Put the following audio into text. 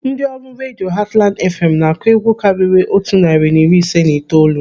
Ndị ọrụ redio Hatland FM na-akụ egwu karịrị otu narị na iri ise na itoolu.